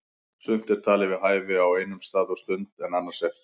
Sumt er talið við hæfi á einum stað og stund en annars ekki.